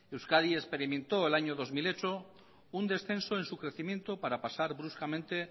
euskadi experimentó en el año dos mil ocho un descenso en su crecimiento para pasar bruscamente